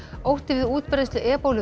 ótti við útbreiðslu